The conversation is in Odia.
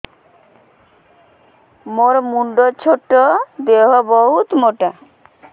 ମୋର ମୁଣ୍ଡ ଛୋଟ ଦେହ ବହୁତ ମୋଟା